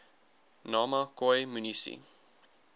nama khoi munisi